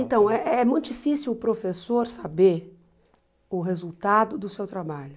Então, é muito difícil o professor saber o resultado do seu trabalho.